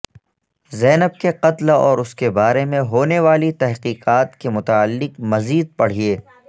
زینب کے قتل اور اس کے بارے میں ہونے والی تحقیقات کے متعلق مزید پڑھیے